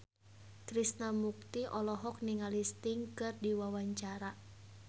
Krishna Mukti olohok ningali Sting keur diwawancara